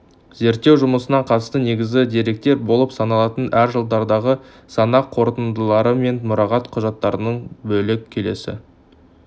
зерттеу жұмысына қатысты негізгі деректер болып саналатын әр жылдардағы санақ қорытындылары мен мұрағат құжаттарынан бөлек келесі